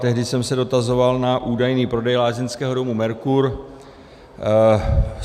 Tehdy jsem se dotazoval na údajný prodej lázeňského domu Mercur.